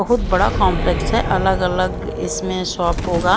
बहुत बड़ा कॉम्प्लेक्स है अलग अलग इसमें शॉप होगा।